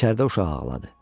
İçəridə uşaq ağladı.